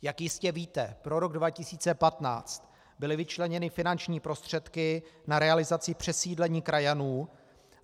Jak jistě víte, pro rok 2015 byly vyčleněny finanční prostředky na realizaci přesídlení krajanů.